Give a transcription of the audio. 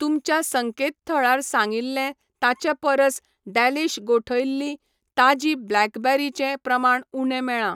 तुमच्या संकेतथळार सांगिल्लें ताचे परस डॅलीश गोठयल्लीं ताजीं ब्लॅकबेरी चें प्रमाण उणें मेळ्ळां.